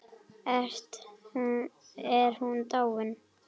Er hún dáin?